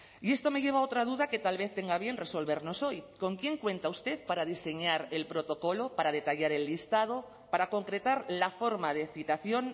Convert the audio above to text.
y esto me lleva a otra duda que tal vez tenga a bien resolvernos hoy con quién cuenta usted para diseñar el protocolo para detallar el listado para concretar la forma de citación